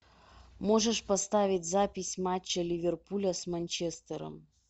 можешь поставить запись матча ливерпуля с манчестером